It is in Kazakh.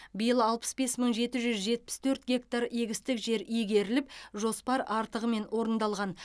биыл алпыс бес мың жеті жүз жетпіс төрт гектар егістік жер иегеріліп жоспар артығымен орындалған